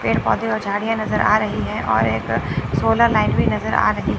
पेड़ पौधे और झाड़ियां नजर आ रही है और एक सोलर लाइट नजर आ रही है।